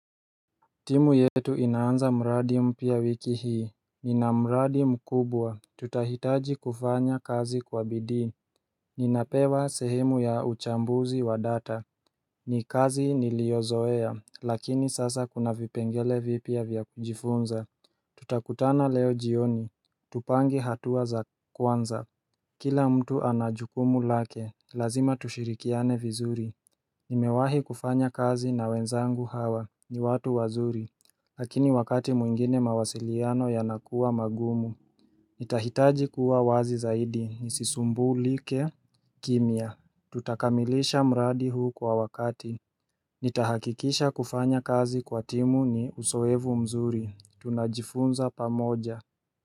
Timu yetu inaanza mradi mpya wiki hii Nina mradi mkubwa Tutahitaji kufanya kazi kwa bidii Ninapewa sehemu ya uchambuzi wa data ni kazi niliozoea lakini sasa kuna vipengele vipya vya kujifunza Tutakutana leo jioni Tupange hatua za kwanza Kila mtu ana jukumu lake Lazima tushirikiane vizuri Nimewahi kufanya kazi na wenzangu hawa ni watu wazuri Lakini wakati mwingine mawasiliano yanakuwa magumu Itahitaji kuwa wazi zaidi nisisumbulike kimya Tutakamilisha mradi huu kwa wakati Nitahakikisha kufanya kazi kwa timu ni uzoevu mzuri Tunajifunza pamoja.